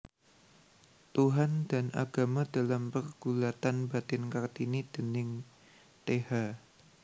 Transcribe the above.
Tuhan dan Agama dalam Pergulatan Batin Kartini déning Th